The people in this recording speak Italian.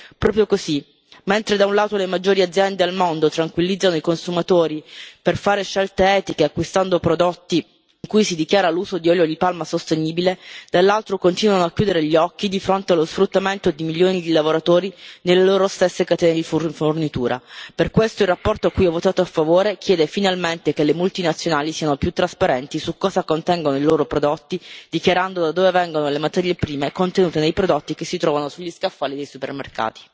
Proprio così mentre da un lato le maggiori aziende al mondo tranquillizzano i consumatori per fare scelte etiche acquistando prodotti in cui si dichiara l'uso di olio di palma sostenibile, dall'altro continuano a chiudere gli occhi di fronte allo sfruttamento di milioni di lavoratori nelle loro stesse catene di fornitura. Per questo la relazione, a cui ho votato a favore, chiede finalmente che le multinazionali siano più trasparenti su cosa contengono i loro prodotti, dichiarando da dove vengono le materie prime contenute nei prodotti che si trovano sugli scaffali dei supermercati.